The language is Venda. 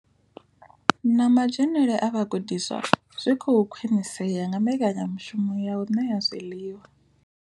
Na madzhenele a vhagudiswa zwi khou khwinisea nga mbekanya mushumo ya u ṋea zwiḽiwa.